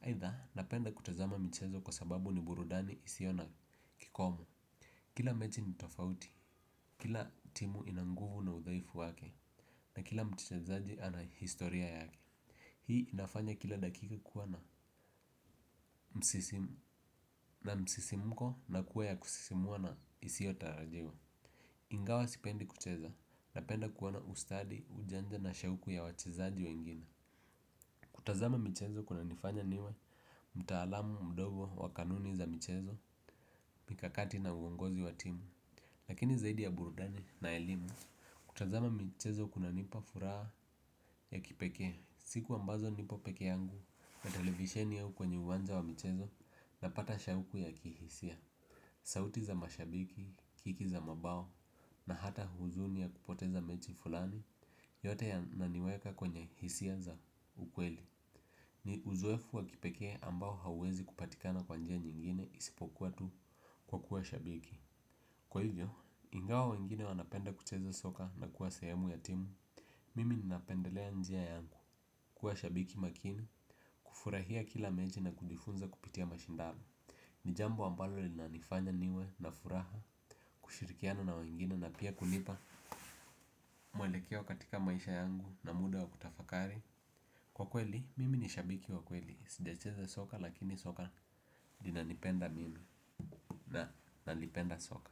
Haitha napenda kutazama michezo kwa sababu ni burudani isio na kikomo. Kila mechi nitofauti, kila timu inanguvu na udhaifu wake. Na kila mtichezaji ana historia yake. Hii inafanya kila dakika kuwa na msisimko na kuwa ya kusisimua na isio tarajiwa. Ingawa sipendi kucheza na penda kuona ustadi, ujanja na shauku ya wachezaji wengine. Kutazama michezo kuna nifanya niwe mtaalamu mdogo wa kanuni za michezo, mikakati na uongozi wa timu. Lakini zaidi ya burudani na elimu, kutazama michezo kuna nipa furaha ya kipeke. Siku ambazo nipo peke yangu na televisheni au kwenye uwanja wa michezo na pata shauku ya kihisia. Sauti za mashabiki, kiki za mabao na hata huzuni ya kupoteza mechi fulani yote ya naniweka kwenye hisia za ukweli. Ni uzoefu wa kipekee ambao hauwezi kupatikana kwa njia nyingine isipokuwa tu kwa kuwa shabiki kwa hivyo ingawa wengine wanapenda kucheka soka na kuwa sehemu ya timu. Mimi ninapendelea njia yangu, kuwa shabiki makini, kufurahia kila mechi na kujifunza kupitia mashindano. Ni jambo ambalo lina nifanya niwe na furaha, kushirikiana na wengine na pia kunipa mwelekeo katika maisha yangu na muda wa kutafakari kwa kweli mimi ni shabiki wa kweli sijacheza soka lakini soka. Ninanipenda mimi, na nalipenda soka.